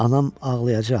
Anam ağlayacaq.